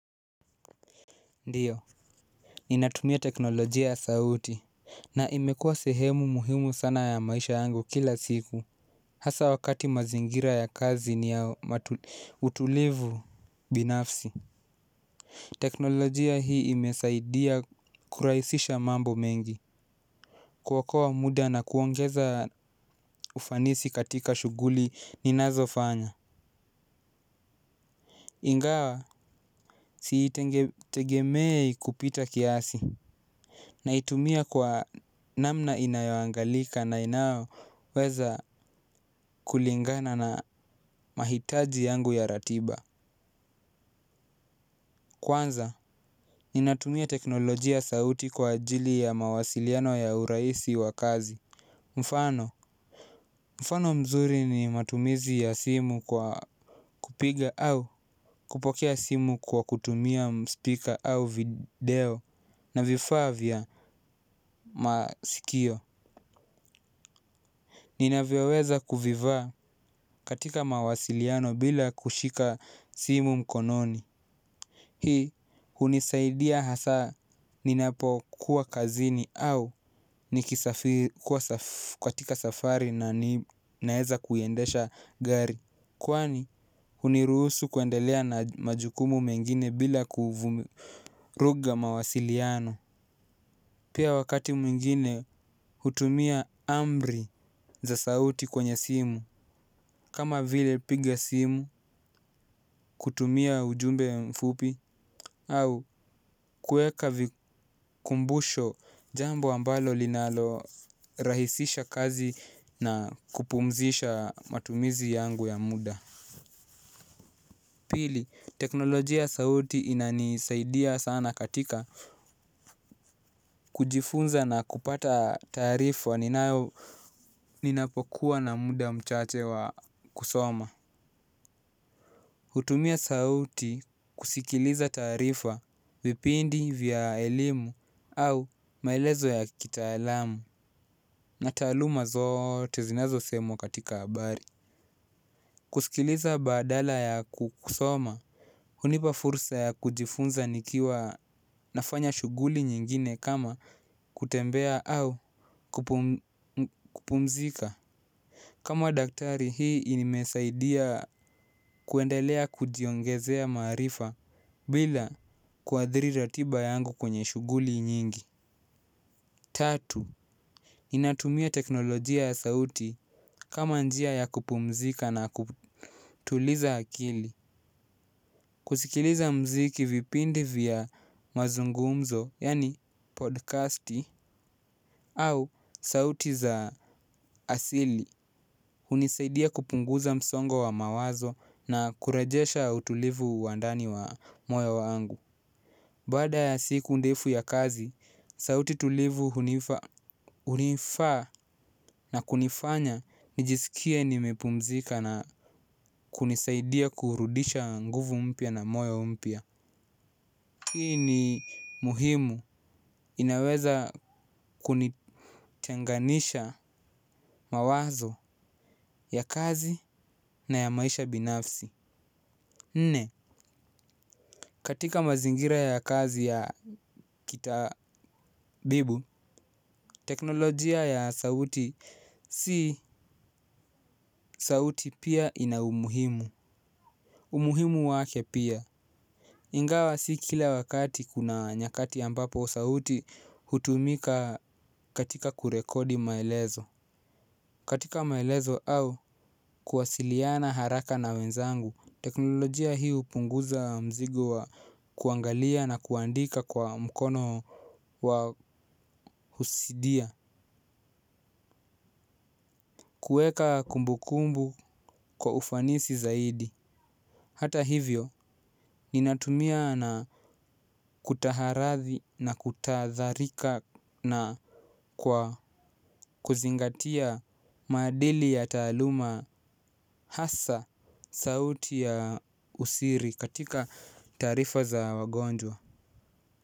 Ndiyo, ninatumia teknolojia ya sauti. Na imekua sehemu muhimu sana ya maisha yangu kila siku. Hasa wakati mazingira ya kazi ni ya utulivu binafsi. Teknolojia hii imesaidia kurahisisha mambo mengi. Kuokoa muda na kuongeza ufanisi katika shughuli ninazofanya. Ingawa, siitegemei kupita kiasi. Naitumia kwa namna inayoangalika na inao weza kulingana na mahitaji yangu ya ratiba. Kwanza, ninatumia teknolojia sauti kwa ajili ya mawasiliano ya urahisi wa kazi. Mfano, mfano mzuri ni matumizi ya simu kwa kupiga au kupokea simu kwa kutumia speaker au video na vifaa vya masikio. Nina vyoweza kuvivaa katika mawasiliano bila kushika simu mkononi. Hii hunisaidia hasa ninapo kuwa kazini au nikisafiri kuwa katika safari na ninaweza kuiendesha gari. Kwani huniruhusu kuendelea na majukumu mengine bila kuvuruga mawasiliano pia wakati mwingine hutumia amri za sauti kwenye simu. Kama vile piga simu, kutumia ujumbe mfupi, au kuweka vikumbusho jambo ambalo linalo rahisisha kazi na kupumzisha matumizi yangu ya muda. Pili, teknolojia ya sauti inanisaidia sana katika kujifunza na kupata taarifa ninayo ninapokuwa na muda mchache wa kusoma. Hutumia sauti kusikiliza taarifa vipindi vya elimu au maelezo ya kitaalamu na taluma zote zinazo semwa katika habari. Kusikiliza badala ya kusoma hunipa fursa ya kujifunza nikiwa nafanya shughuli nyingine kama kutembea au kupumzika. Kama daktari hii inimesaidia kuendelea kujiongezea marifa bila kuadhiri ratiba yangu kwenye shughuli nyingi. Tatu, ninatumia teknolojia ya sauti kama njia ya kupumzika na kutuliza akili. Kusikiliza mziki vipindi vya mazungumzo yaani podcast au sauti za asili hunisaidia kupunguza msongo wa mawazo na kurejesha utulivu wa ndani wa moyo wangu baada ya siku ndefu ya kazi sauti tulivu hunifaa na kunifanya nijisikie nimepumzika na kunisaidia kurudisha nguvu mpya na moyo mpya hii ni muhimu inaweza kunitenganisha mawazo ya kazi na ya maisha binafsi. Nne, katika mazingira ya kazi ya kitabibu, teknolojia ya sauti si sauti pia ina umuhimu. Umuhimu wake pia ingawa si kila wakati kuna nyakati ambapo sauti hutumika katika kurekodi maelezo katika maelezo au kuwasiliana haraka na wenzangu. Teknolojia hii hupunguza mzigo wa kuangalia na kuandika kwa mkono wa husidia. Kuweka kumbukumbu kwa ufanisi zaidi hata hivyo ninatumia na kutahadharika na kwa kuzingatia madili ya taaluma hasa sauti ya usiri katika taarifa za wagonjwa.